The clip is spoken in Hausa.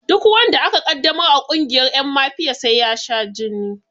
Duk wanda aka ƙaddamar a ƙungiyar ƴan mafiya sai ya sha jini